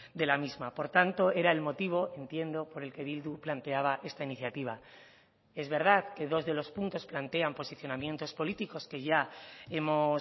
de la misma por tanto era el motivo entiendo por el que bildu planteaba esta iniciativa es verdad que dos de los puntos plantean posicionamientos políticos que ya hemos